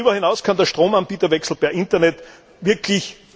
Darüber hinaus kann der Stromanbieterwechsel per Internet wirklich